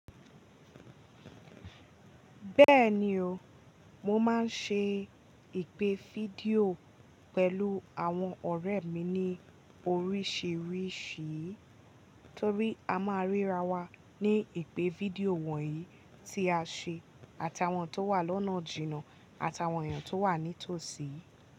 Bẹ́ẹ̀ni o, mo máa ń ṣe ìpè fídíò pẹ̀lú àwọn ọ̀rẹ́ mi ní oríṣìíríṣìí, torí a máa ríra wa ní ìpè fídíò wọ̀nyí tí a ṣe àti àwọn tó wà lọ́nà jìnnà àti àwọn èèyàn tó wà ní tòsí.